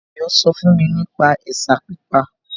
Ayọ̀ sọ fún mi nípa ẹ̀sà pípa